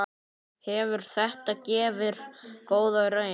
Hefur þetta gefið góða raun?